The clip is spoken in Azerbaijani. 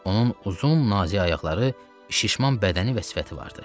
Onun uzun, nazik ayaqları, şişman bədəni və sifəti vardı.